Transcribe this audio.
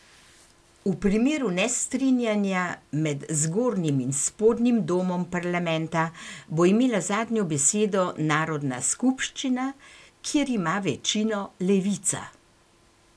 V primeru nestrinjanja med zgornjim in spodnjim domom parlamenta bo imela zadnjo besedo narodna skupščina, kjer ima večino levica.